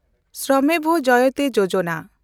ᱥᱨᱚᱢᱮᱣ ᱡᱚᱭᱚᱛᱮ ᱭᱳᱡᱚᱱᱟ